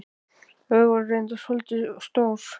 Þau voru reyndar svolítið of stór.